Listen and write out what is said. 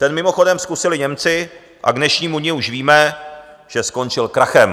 Ten mimochodem zkusili Němci a k dnešnímu dni už víme, že skončil krachem.